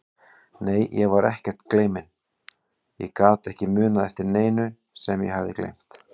Nei, ég var ekkert gleyminn, ég gat ekki munað eftir neinu sem ég hafði gleymt.